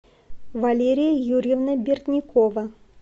валерия юрьевна бердникова